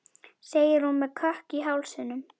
segir hún með kökk í hálsinum.